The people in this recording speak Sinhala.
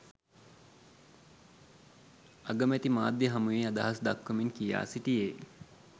අගමැති මාධ්‍ය හමුවේ අදහස් දක්වමින් කියා සිටියේ